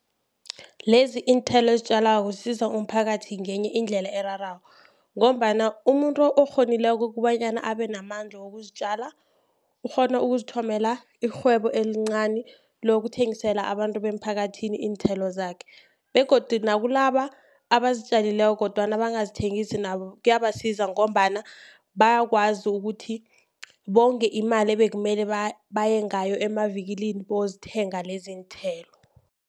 Lezi iinthelo ezitjalwako zisiza umphakathi ngenye indlela erarako, ngombana umuntu okghonileko kobanyana abe namandla wokuzitjala ukghona ukuzithomela irhwebo elincani lokuthengisela abantu bemphakathini iinthelo zakhe. Begodu nakulaba abazitjalileko kodwana bangazithengisi nabo kuyabasiza, ngombana bayakwazi ukuthi bonge imali ebekumele baye ngayo emavikilini, bayozithenga lezi iinthelo.